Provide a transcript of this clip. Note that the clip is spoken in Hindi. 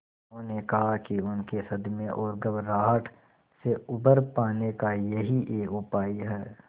उन्होंने कहा कि उनके सदमे और घबराहट से उबर पाने का यही एक उपाय है